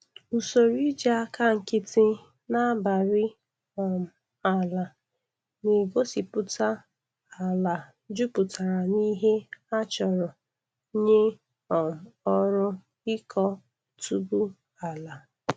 Usoroiji aka nkịtị na-abari um ala na-egosịpụta ala jupụtara n'ihe a chọrọ nye um ọrụ ịkọ otubu ala.